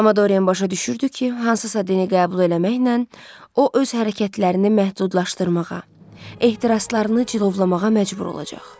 Amma Dorian başa düşürdü ki, hansısa dini qəbul eləməklə o öz hərəkətlərini məhdudlaşdırmağa, ehtiraslarını cilovlamağa məcbur olacaq.